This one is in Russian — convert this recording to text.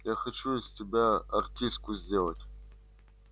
я хочу из тебя артистку сделать